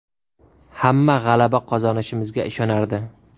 Hamma g‘alaba qozonishimizga ishonardi.